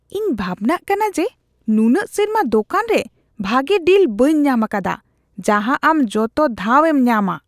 ᱤᱧ ᱵᱷᱟᱵᱽᱱᱟᱜ ᱠᱟᱱᱟ ᱡᱮ ᱱᱩᱱᱟᱹᱜ ᱥᱮᱨᱢᱟ ᱫᱳᱠᱟᱱ ᱨᱮ ᱵᱷᱟᱜᱮ ᱰᱤᱞ ᱵᱟᱹᱧ ᱧᱟᱢ ᱟᱠᱟᱫᱟ ᱡᱟᱦᱟᱸ ᱟᱢ ᱡᱚᱛᱚ ᱫᱷᱟᱣ ᱮᱢ ᱧᱟᱢᱼᱟ ᱾